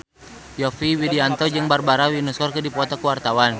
Yovie Widianto jeung Barbara Windsor keur dipoto ku wartawan